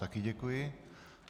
Také děkuji.